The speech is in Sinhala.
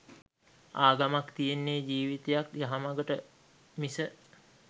ආගමක් තියෙන්නේ ජීවිතයක් යහමගට මිස